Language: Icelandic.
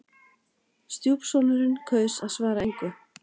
Stjúpsonurinn kaus að svara engu.